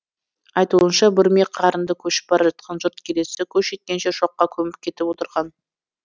айтуынша бүрме қарынды көшіп бара жатқан жұрт келесі көш жеткенше шоққа көміп кетіп отырған